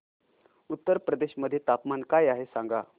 उत्तर प्रदेश मध्ये तापमान काय आहे सांगा